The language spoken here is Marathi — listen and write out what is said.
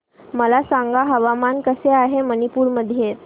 मला सांगा हवामान कसे आहे मणिपूर मध्ये